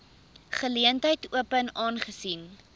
geleentheid open aangesien